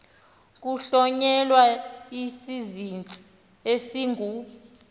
kuhlonyelwa isizinzisi esingu